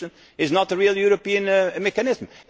FT is not a real European mechanism.